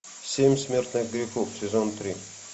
семь смертных грехов сезон три